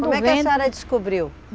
Como é que a senhora descobriu?